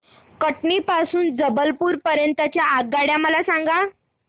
कटनी पासून ते जबलपूर पर्यंत च्या आगगाड्या मला सांगा